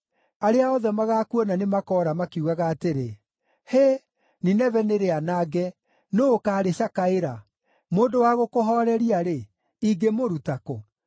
Arĩa othe magaakuona nĩmakoora makiugaga atĩrĩ, ‘Hĩ, Nineve nĩrĩanange, nũũ ũkaarĩcakaĩra?’ Mũndũ wa gũkũhooreria-rĩ, ingĩmũruta kũ?”